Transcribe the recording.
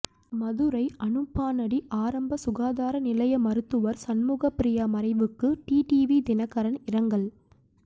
மதுரை அனுப்பானடி ஆரம்ப சுகாதார நிலைய மருத்துவர் சண்முகப்பிரியா மறைவுக்கு டிடிவி தினகரன் இரங்கல்